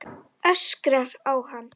Öskrar á hann.